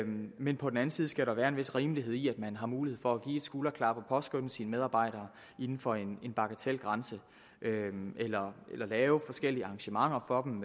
men på den anden side skal der være en vis rimelighed i det man har mulighed for at give et skulderklap og påskønne sine medarbejdere inden for en bagatelgrænse eller lave forskellige arrangementer for dem